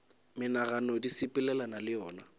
menagano di sepelelana le yona